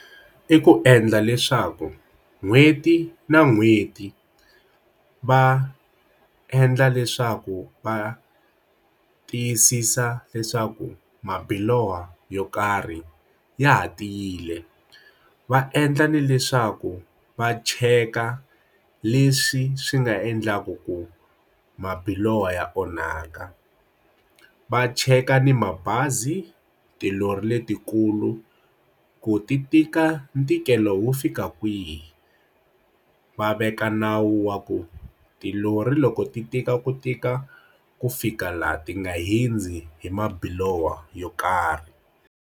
I ku endla leswaku n'hweti na n'hweti va endla leswaku va tiyisisa leswaku mabiloho yo karhi ya ha tiyile va endla na leswaku va cheka leswi swi nga endlaku ku mabiloho ya onhaka va cheka ni mabazi, tilori letikulu ku ti tika ntikelo wo fika kwihi va veka nawu wa ku tilori loko ti tika ku tika ku fika laha ti nga hundzi hi mabiloho yo karhi.